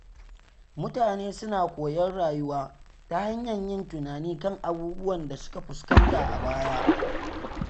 Mutane suna koyon rayuwa ta hanyar yin tunani kan abubuwan da suka fuskanta a baya.